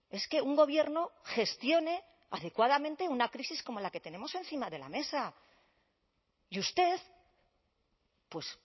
es que un gobierno gestione adecuadamente una crisis como la que tenemos encima de la mesa y usted pues